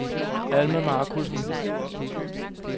Alma Markussen